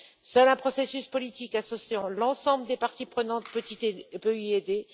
Seul un processus politique associant l'ensemble des parties prenantes peut y aider.